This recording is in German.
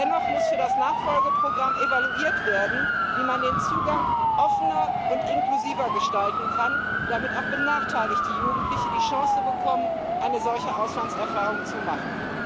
Dennoch muss für das Nachfolgeprogramm evaluiert werden, wie man den Zugang offener und inklusiver gestalten kann, damit auch benachteiligte Jugendliche die Chance bekommen, eine solche Auslandserfahrung zu machen.